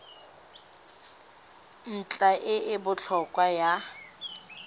ntlha e e botlhokwa ya